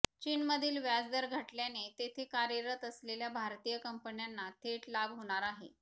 चीनमधील व्याजदर घटल्याने तेथे कार्यरत असलेल्या भारतीय कंपन्यांना थेट लाभ होणार आहे